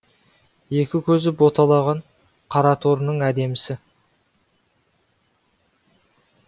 екі көзі боталаған қараторының әдемісі